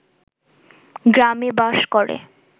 গ্রামে বাস করে।